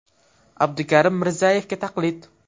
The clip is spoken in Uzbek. Abdukarim Mirzayevga taqlid.